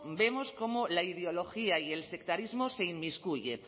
vemos cómo la ideología y el sectarismo se inmiscuye